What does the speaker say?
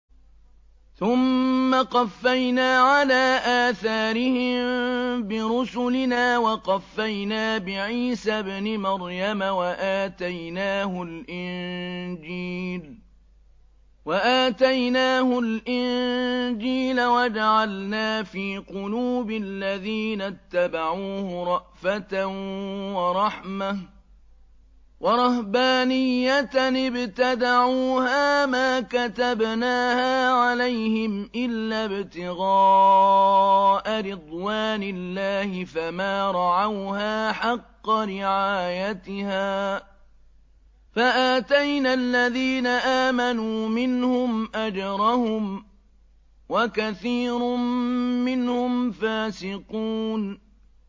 ثُمَّ قَفَّيْنَا عَلَىٰ آثَارِهِم بِرُسُلِنَا وَقَفَّيْنَا بِعِيسَى ابْنِ مَرْيَمَ وَآتَيْنَاهُ الْإِنجِيلَ وَجَعَلْنَا فِي قُلُوبِ الَّذِينَ اتَّبَعُوهُ رَأْفَةً وَرَحْمَةً وَرَهْبَانِيَّةً ابْتَدَعُوهَا مَا كَتَبْنَاهَا عَلَيْهِمْ إِلَّا ابْتِغَاءَ رِضْوَانِ اللَّهِ فَمَا رَعَوْهَا حَقَّ رِعَايَتِهَا ۖ فَآتَيْنَا الَّذِينَ آمَنُوا مِنْهُمْ أَجْرَهُمْ ۖ وَكَثِيرٌ مِّنْهُمْ فَاسِقُونَ